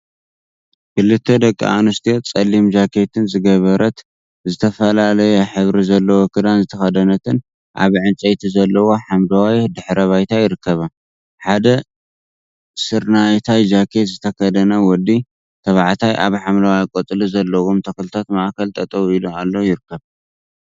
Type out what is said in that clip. ክልተ ደቂ አንስትዮ ፀሊም ጃኬትን ዝገበረት ዝተፈላለየ ሕብሪ ዘለዎ ክዳን ዝተከደነትን አብ ዕንፀይቲ ዘለዎ ሓመደዋይ ድሕረ ባይታ ይርከባ፡፡ ሓደ ስርናየታይ ጃኬት ዝተከደነ ወዲ ተባዕታይ አብ ሓምለዋይ ቆፅሊ ዘለዎም ተክልታት ማእከል ጠጠው ኢሉ ይርከብ፡፡